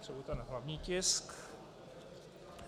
Potřebuji ten hlavní tisk...